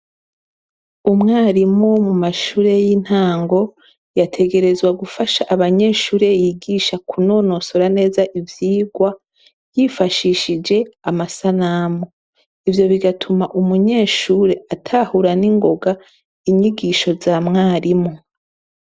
Umwarimu mu mashure y'intango yategerezwa gufasha abanyeshure yigisha kunonosora neza ivyigwa yifashishije amasanamu, ivyo bigatuma umunyeshure atahura ningoga inyigisho za mwarimu.